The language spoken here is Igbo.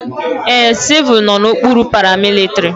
Ee, civul nọ n'okpuru paramilitrị.